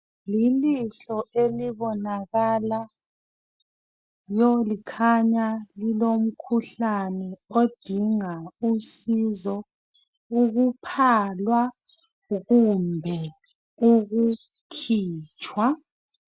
Lilihlo elibonakala likhanya lilomkhuhlane odinga usizo ukuphalwa kumbe ukukhitshwa.